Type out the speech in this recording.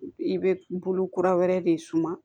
I bɛ bolo kura wɛrɛ de suma